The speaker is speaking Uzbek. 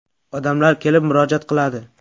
Odamlar kelib murojaat qiladi.